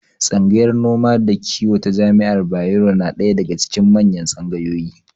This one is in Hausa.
Tsangayar noma da kiwo ta jami'ar Bayero na ɗaya daga cikin manyan tsangayoyi.